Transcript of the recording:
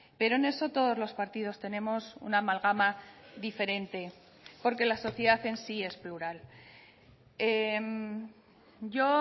pero en eso todos los partidos tenemos una malgama diferente porque la sociedad en sí es plural yo